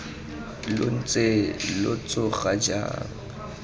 lo ntse lo tsoga jang